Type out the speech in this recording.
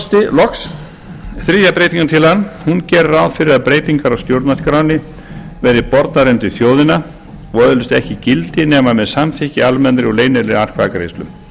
virðulegur forseti loks gerir þriðja breytingartillagan ráð fyrir að breytingar á stjórnarskránni verði bornar undir þjóðina og öðlist ekki gildi nema með samþykki í almennri leynilegri atkvæðagreiðslu